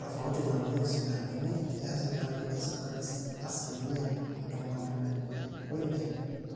tofauti nalotieki sipitalini, eya sipitalini esirkali asilimia ntomoni ile o ile